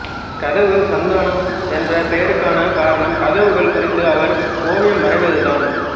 கதவு சந்தானம் என்ற பெயருக்கான காரணம் கதவுகள் குறித்து அவர் ஓவியம் வரைவது தான்